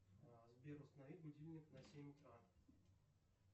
сбер установи будильник на семь утра